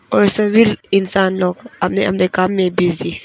और ये सभी इंसान लोग अपने अपने काम में बिजी है।